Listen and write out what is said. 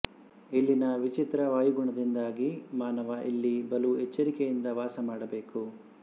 ಇಲ್ಲಿನ ವಿಚಿತ್ರ ವಾಯುಗುಣದಿಂದಾಗಿ ಮಾನವ ಇಲ್ಲಿ ಬಲು ಎಚ್ಚರಿಕೆಯಿಂದ ವಾಸಮಾಡಬೇಕು